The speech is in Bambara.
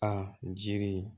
A jiri